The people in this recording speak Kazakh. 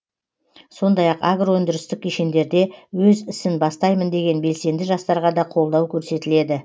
сондай ақ агро өндірістік кешендерде өз ісін бастаймын деген белсенді жастарға да қолдау көрсетіледі